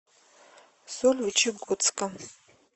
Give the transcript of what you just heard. сольвычегодска